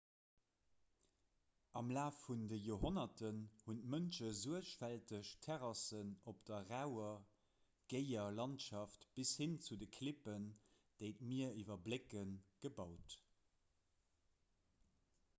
am laf vun de joerhonnerten hunn d'mënsche suergfälteg terrassen op der rauer géier landschaft bis hin zu de klippen déi d'mier iwwerblécken gebaut